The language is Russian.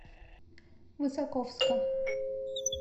высоковска